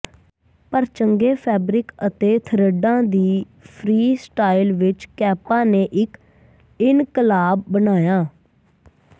ਪਰ ਚੰਗੇ ਫੈਬਰਿਕ ਅਤੇ ਥਰਿੱਡਾਂ ਦੀ ਫ੍ਰੀ ਸਟਾਈਲ ਵਿਚ ਕੈਪਾਂ ਨੇ ਇਕ ਇਨਕਲਾਬ ਬਣਾਇਆ